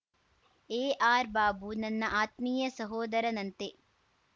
A R Babu ನನ್ನ ಆತ್ಮೀಯ ಸಹೋದರನಂತೆ